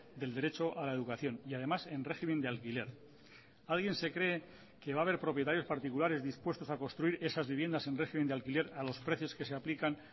del derecho a la educación y además en régimen de alquiler alguien se cree que va a haber propietarios particulares dispuestos a construir esas viviendas en régimen de alquiler a los precios que se aplican